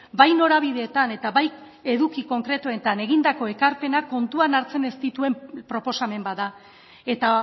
bai norabideetan eta bai eduki konkretuetan egindako ekarpenak kontuan hartzen ez dituen proposamen bat da eta